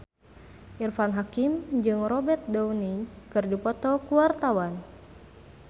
Irfan Hakim jeung Robert Downey keur dipoto ku wartawan